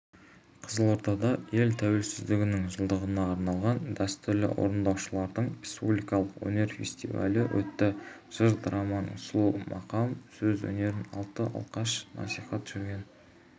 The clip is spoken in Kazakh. қызылордада ел тәуелсіздігінің жылдығына арналған дәстүрлі орындаушылардың республикалық өнер фестивалі өтті жыр думанына сұлу мақам саз өнерін алты алашқа насихаттап жүрген